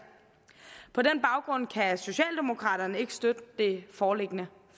på den baggrund kan socialdemokraterne ikke støtte det foreliggende